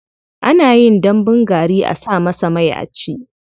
Ana yin dambun gari a sa masa mai a ci.